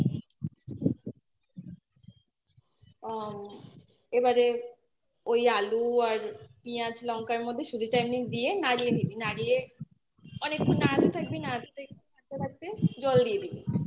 আ এবারে ওই আলু আর পেঁয়াজ লঙ্কার মধ্যে সুজিটা এমনি দিয়ে নাড়িয়ে নিবি noise নাড়িয়ে অনেকক্ষন নাড়তে থাকবি নাড়িয়ে থাকতে থাকতে একটু জল দিয়ে দিবি